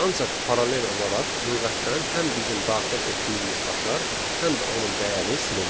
Ancaq paralel olaraq lüğətdən həm bizim daxil etdiyimiz açar, həm də onun dəyəri silinir.